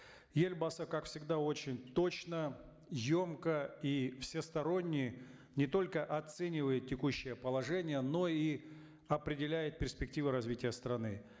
елбасы как всегда очень точно емко и всесторонне не только оценивает текущее положение но и определяет перспективы развития страны